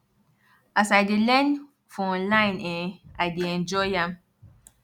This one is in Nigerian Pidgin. as i dey learn for online[um]i dey enjoy am